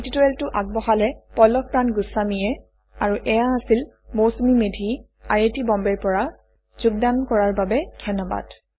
এই পাঠটি আগবঢ়ালে পল্লভ প্ৰান গুস্ৱামীয়ে আৰু এইয়া হৈছে Mousumi Medhi I I T বম্বেৰ পৰা যোগদান কৰাৰ বাবে ধন্যবাদ